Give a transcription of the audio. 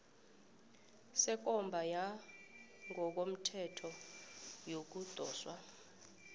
sekomba yangokomthetho yokudoswa